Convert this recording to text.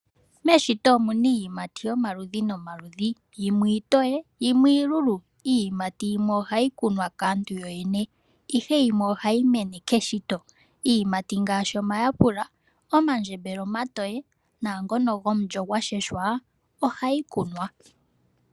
Meshito omuna iiyimati yomaludhi nomaludhi yimwe iitoye yimwe iilulu . Iiyimati yimwe ohayi kunwa kaantu yo yene , ihe yimwe ohayi mene keshito . Iiyimati ngaashi omayapula omandjembele omatoye naangono gomulyo washeshwa ohayi kunwa.